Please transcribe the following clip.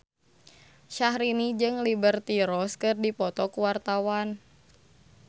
Syahrini jeung Liberty Ross keur dipoto ku wartawan